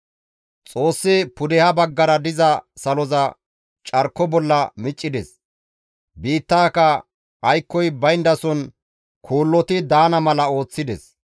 Xoossi pudeha baggara diza saloza carko bolla miccides; biittaaka aykkoy bayndason kuulloti daana mala ooththides.